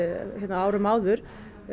á árum áður